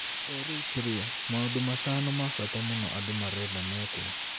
Eritrea: Maũndũ matano ma bata mũno andũ marenda mekwo